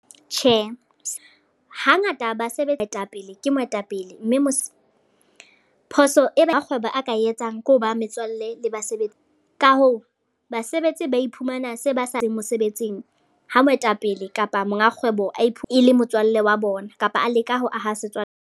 Tjhe, hangata basebetsi, moetapele ke moetapele. Mme phoso e rakgwebo a ka etsang ke ho ba metswalle le basebetsi. Ka hoo basebetsi ba iphumane ba se ba sa mosebetsing ha moetapele kapa monga kgwebo a e le motswallle wa bona, kapa a leka ho aha setswalle.